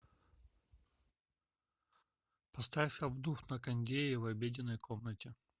поставь обдув на кондее в обеденной комнате